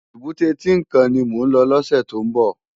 Ébùté Tinkán ni mó n lò lòsè tó n bò